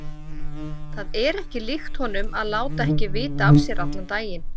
Það er ekki líkt honum að láta ekki vita af sér allan daginn.